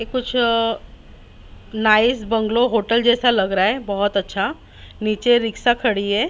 कुछ uh nice bungalow hotel जैसा लग रहा है बहुत अच्छा नीचे रिक्शा खड़ी है।